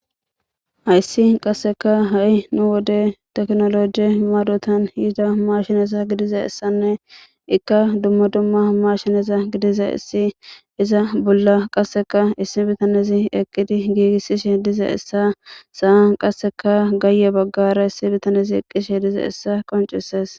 Hayssi qasseka ha7i nu wode teknoloje maadotan yiida mashineza gidiza essanne ikka dumma dumma mashineza gidiza issi iza bolla qasseka issi bitanezi eqqidi giigissishe diza essa saa qasseka gaayye baggara issi bitanezi eqqishe diza essa qoncisees.